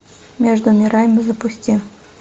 между мирами запусти